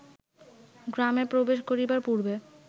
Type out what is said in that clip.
গ্রামে প্রবেশ করিবার পূর্বে